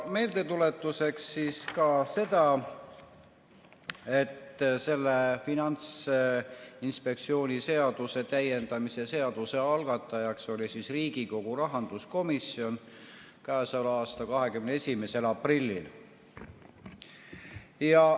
Meeldetuletuseks ütlen ka seda, et selle Finantsinspektsiooni seaduse täiendamise seaduse eelnõu algatas Riigikogu rahanduskomisjon k.a 21. aprillil.